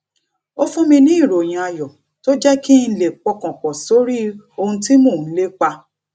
ó fún mi ní ìròyìn ayò tó jé kí n lè pọkàn pò sórí ohun tí mò ń lépa